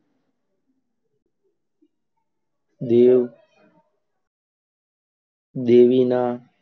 દેવ દેવીના,